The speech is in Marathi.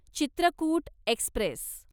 चित्रकूट एक्स्प्रेस